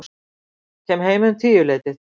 Kem heim um tíuleytið.